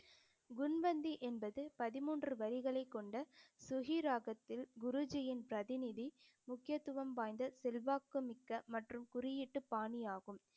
குண்வந்தி என்பது பதிமூன்று வரிகளை கொண்ட சுகி ராகத்தில் குருஜியின் பிரதிநிதி முக்கியத்துவம் வாய்ந்த செல்வாக்கு மிக்க மற்றும் குறியீட்டு பாணியாகும்